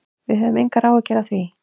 Við höfum engar áhyggjur af því.